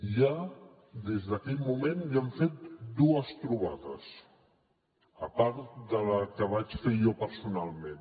ja des d’aquell moment hem fet dues trobades a part de la que vaig fer jo personalment